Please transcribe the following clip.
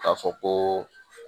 K'a fɔ koo